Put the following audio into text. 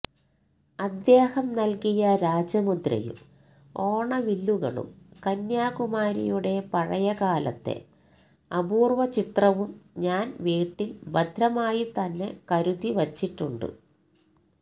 അദ്ദേഹം നല്കിയ രാജമുദ്രയും ഓണവില്ലുകളും കന്യാകുമാരിയുടെ പഴയകാലത്തെ അപൂര്വ ചിത്രവും ഞാന് വീട്ടില് ഭദ്രമായി തന്നെ കരുതിവച്ചിട്ടുണ്ട്